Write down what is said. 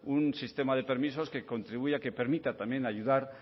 un sistema de permisos que contribuya que permita también ayudar